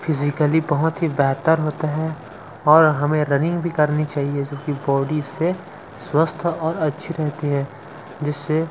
physically बहोत ही बेहतर होता है और हमें रनिंग भी करनी चाहिए जो की बॉडी से स्वस्थ और अच्छी रहती है जिससे--